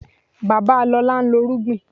Babalọlá ń lọ́ irúgbìn